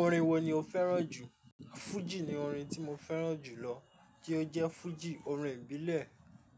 Orin wo ni o fẹ́ràn jù? Fuji ni orin tí mo fẹ́ràn jù lọ, kí ó jẹ́ fuji orin ìbílẹ̀,